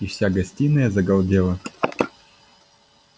и вся гостиная загалдела